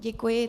Děkuji.